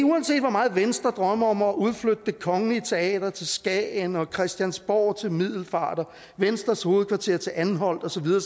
uanset hvor meget venstre drømmer om at udflytte det kongelige teater til skagen og christiansborg til middelfart og venstres hovedkvarter til anholt og så videre